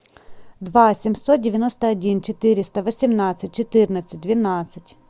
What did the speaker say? два семьсот девяносто один четыреста восемнадцать четырнадцать двенадцать